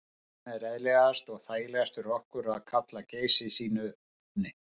Þess vegna er eðlilegast og þægilegast fyrir okkur að kalla Geysi sínu nafni.